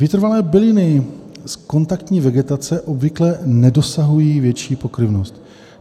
Vytrvalé byliny z kontaktní vegetace obvykle nedosahují větší pokryvnosti.